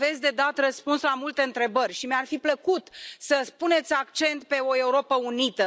Aveți de dat răspuns la multe întrebări și mi ar fi plăcut să puneți accent pe o Europă unită.